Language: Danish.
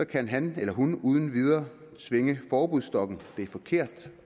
kan han eller hun uden videre svinge forbudsstokken det er forkert